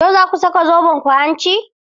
Yau za ku saka zobenku hanci?